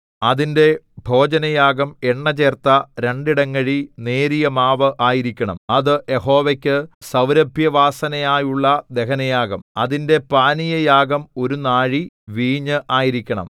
അതിന്റെ ഭോജനയാഗം എണ്ണചേർത്ത രണ്ടിടങ്ങഴി നേരിയ മാവ് ആയിരിക്കണം അത് യഹോവയ്ക്കു സൗരഭ്യവാസനയായുള്ള ദഹനയാഗം അതിന്റെ പാനീയയാഗം ഒരു നാഴി വീഞ്ഞ് ആയിരിക്കണം